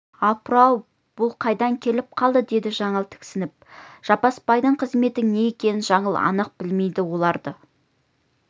апыр-ау бұл қайдан келіп қалды деді жаңыл тіксініп жаппасбайдың қызметінің не екенін жаңыл анық білмейді оларды